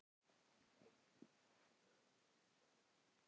Hafborg, hvað er mikið eftir af niðurteljaranum?